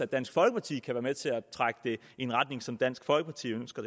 dansk folkeparti kan være med til at trække det i en retning som dansk folkeparti ønsker